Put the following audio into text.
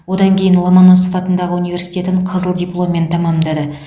одан кейін ломоносов атындағы университетін қызыл дипломен тәмамдады